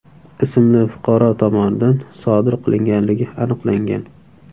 ismli fuqaro tomonidan sodir qilinganligi aniqlangan.